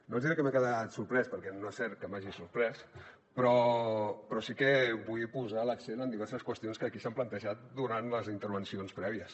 no els hi diré que m’he quedat sorprès perquè no és cert que m’hagi sorprès però sí que vull posar l’accent en diverses qüestions que aquí s’han plantejat durant les intervencions prèvies